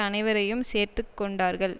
அனைவரையும் சேர்த்துக்கொண்டார்கள்